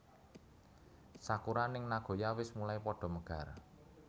Sakura ning Nagoya wis mulai podo megar